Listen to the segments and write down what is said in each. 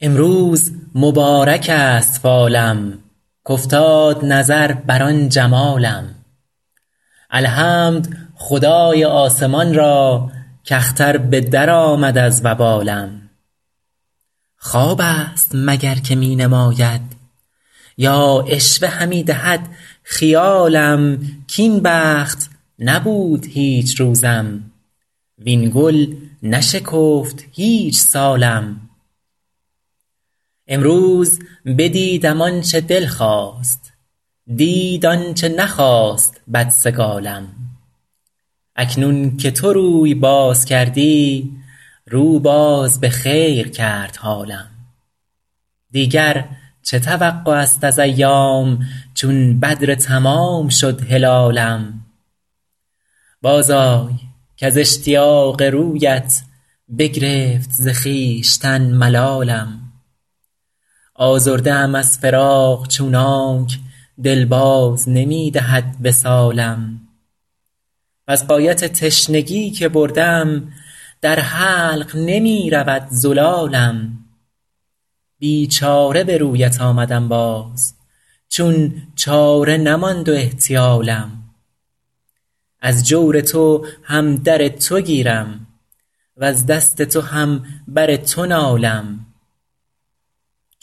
امروز مبارک است فالم کافتاد نظر بر آن جمالم الحمد خدای آسمان را کاختر به درآمد از وبالم خواب است مگر که می نماید یا عشوه همی دهد خیالم کاین بخت نبود هیچ روزم وین گل نشکفت هیچ سالم امروز بدیدم آن چه دل خواست دید آن چه نخواست بدسگالم اکنون که تو روی باز کردی رو باز به خیر کرد حالم دیگر چه توقع است از ایام چون بدر تمام شد هلالم بازآی کز اشتیاق رویت بگرفت ز خویشتن ملالم آزرده ام از فراق چونانک دل باز نمی دهد وصالم وز غایت تشنگی که بردم در حلق نمی رود زلالم بیچاره به رویت آمدم باز چون چاره نماند و احتیالم از جور تو هم در تو گیرم وز دست تو هم بر تو نالم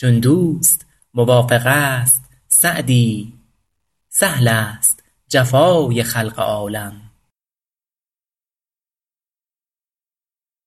چون دوست موافق است سعدی سهل است جفای خلق عالم